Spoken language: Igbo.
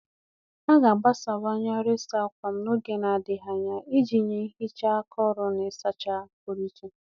A ga-agbasawanye ọrụ ịsa ákwà m n'oge na-adịghị anya iji nye nhicha akọrọ na ịsacha pụrụ iche